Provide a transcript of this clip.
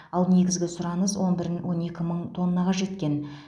ал негізгі сұраныс он бірін он екі мың тоннаға жеткен